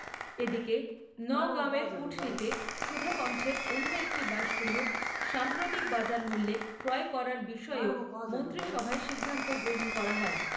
এদিকে নগাঁও এর কুঠরীতে সুধাকন্ঠের অন্য একটি বাসগৃহ সাম্প্রতিক বাজার মূল্যে ক্রয় করার বিষয়েও মন্ত্রীসভায় সিদ্ধান্ত গ্রহণ করা হয়।